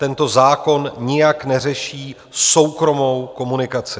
Tento zákon nijak neřeší soukromou komunikaci.